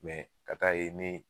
ka taa ye nin